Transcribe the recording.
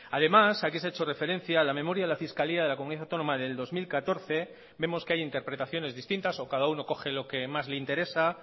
además aquí se ha hecho referencia a la memoria de la fiscalía de la comunidad autónoma del dos mil catorce vemos que hay interpretaciones distintas o cada uno coge lo que más le interesa